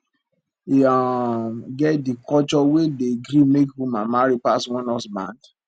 e um get di culture wey dey gree make woman marry pass one husband